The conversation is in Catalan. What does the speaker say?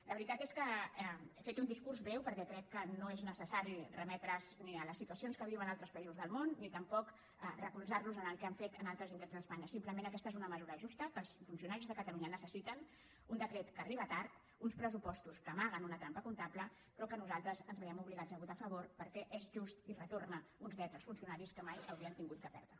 la veritat és que he fet un discurs breu perquè crec que no és necessari remetre’s ni a les situacions que viuen altres països del món ni tampoc recolzar el que han fet en altres indrets d’espanya simplement aquesta és una mesura justa que els funcionaris de catalunya necessiten un decret que arriba tard uns pressupostos que amaguen una trampa comptable pe·rò que nosaltres ens veiem obligats a votar·hi a favor perquè és just i retorna uns drets als funcionaris que mai no l’haurien hagut de perdre